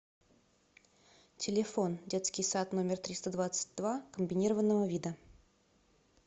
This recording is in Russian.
телефон детский сад номер триста двадцать два комбинированного вида